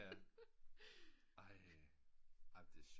Ja ej